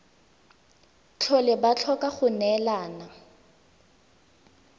tlhole ba tlhoka go neelana